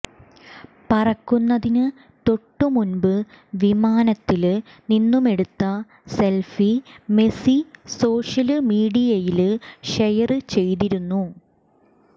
പറക്കുന്നതിന് തൊട്ടുമുമ്പ് വിമാനത്തില് നിന്നുമെടുത്ത സെല്ഫി മെസി സോഷ്യല് മീഡിയയില് ഷെയര് ചെയ്തിരുന്നു